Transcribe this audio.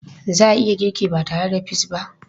Za a iya girki ba tare da peas ba?